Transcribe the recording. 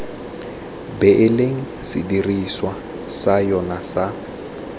beileng sedirisiwa sa yona sa